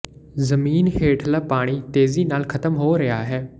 ਜ਼ਮੀਨ ਹੇਠਲਾ ਪਾਣੀ ਤੇਜ਼ੀ ਨਾਲ ਖਤਮ ਹੋ ਰਿਹਾ ਹੈ